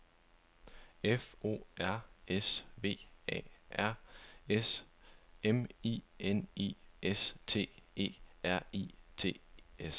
F O R S V A R S M I N I S T E R I E T S